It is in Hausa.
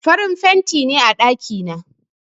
Farin fenti ne a ɗaki na.